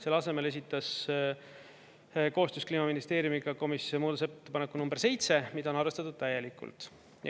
Selle asemel esitas koostöös Kliimaministeeriumiga komisjon muudatusettepaneku number 7, mida on arvestatud täielikult.